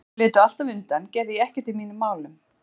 Ef þau létu alltaf undan gerði ég ekkert í mínum málum.